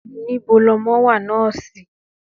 Níbo lọmọ wà, nọ́ọ́sì?